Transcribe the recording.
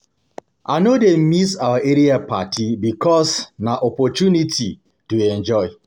I no dey miss our area party because na opportunity to enjoy.